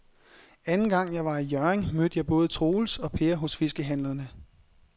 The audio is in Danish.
Anden gang jeg var i Hjørring, mødte jeg både Troels og Per hos fiskehandlerne.